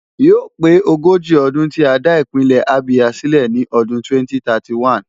Yóò pé ogójì ọdún tí a dá Ìpínlẹ̀ Abia sílẹ̀ ní ọdún 2031.